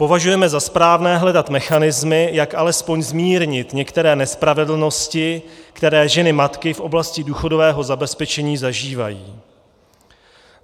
Považujeme za správné hledat mechanismy, jak alespoň zmírnit některé nespravedlnosti, které ženy matiky v oblasti důchodového zabezpečení zažívají.